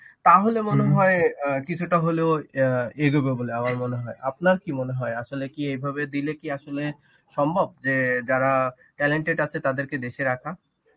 তাহলে মনে হয় অ্যাঁ কিছুটা হলেও অ্যাঁ এগোবে বলে আমার মনে হয় আপনার কি মনে হয় আসলে কি এইভাবে দিলে কি আসলে সম্ভব যে যারা talented আছে তাদেরকে দেশে রাখা.